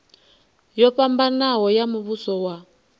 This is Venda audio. yo fhambanaho ya muvhuso wa